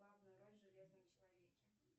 главная роль в железном человеке